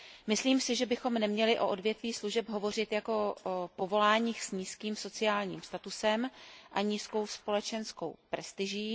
Myslím si, že bychom neměli o odvětví služeb hovořit jako o povoláních s nízkým sociálním statusem a nízkou společenskou prestiží.